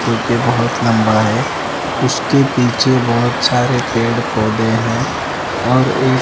जो कि बहुत लंबा है उसके पीछे बहुत सारे पेड़-पौधे हैं और एक --